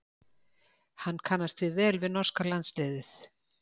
Hann kannast því vel við norska landsliðið.